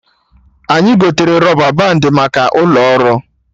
Anyị gotere rọba bandị maka ụlọ ọrụ